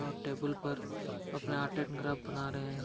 और टेबुल पर अपना आर्ट एंड ग्राफ बना रहे हैं।